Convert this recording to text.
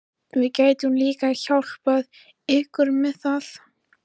Við getum líka hjálpað ykkur með það